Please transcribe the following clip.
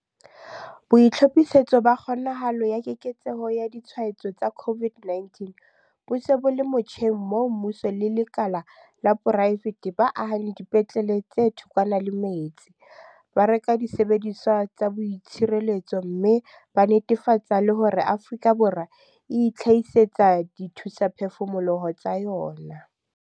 BOITLHOPHISETSO BA KGONAHALO ya keketseho ya ditshwaetso tsa COVID-19 bo se bo le motjheng moo mmuso le lekala la poraefete ba ahang dipetlele tse thokwana le metse, ba reka disebediswa tsa boitshireletso mme ba netefatsa le hore Afrika Borwa e itlhahisetsa dithusaphefumoloho tsa yona.